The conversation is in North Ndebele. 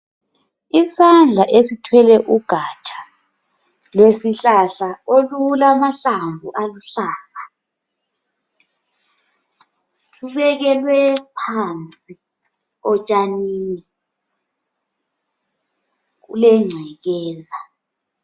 Isandla esithwele ugatsha lwesihlahla olulamahlamvu aluhlaza. Lwekelwe phansi otshanini kulengcekeza.